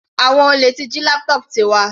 Àwọn olè jí laptop Tiwa.